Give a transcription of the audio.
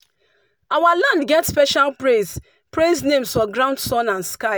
our land prayer get special praise praise names for ground sun and sky.